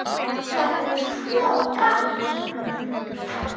Þetta er svo gaman, maður.